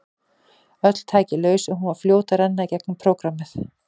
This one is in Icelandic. Öll tæki laus og hún var fljót að renna í gegnum prógrammið.